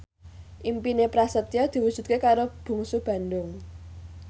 impine Prasetyo diwujudke karo Bungsu Bandung